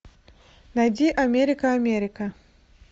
найди америка америка